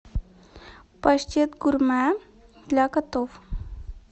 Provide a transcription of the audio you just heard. паштет гурмэ для котов